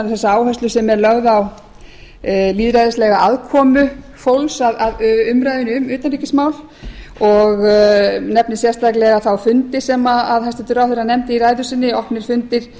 þessa áherslu sem er lögð á lýðræðislega aðkomu fólks að umræðunni um utanríkismál og nefni sérstaklega þá fundi sem hæstvirtur ráðherra nefndi í ræðu sinni opnir fundir